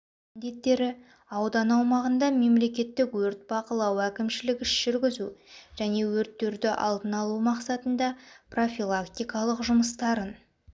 міндеттері аудан аумағында мемлекеттік өрт бақылау әкімшілік іс-жүргізу және өрттерді алдын алу мақсатында профилактикалық жұмыстарын